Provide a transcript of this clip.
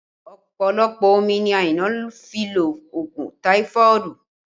Ọpọlọpọ omi ni Aina fi lo òògùn táífọ̀dù